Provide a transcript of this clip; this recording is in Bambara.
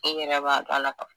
I yɛrɛ b'a dɔn a la k'a fɔ